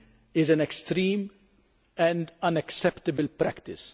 is an extreme and unacceptable practice.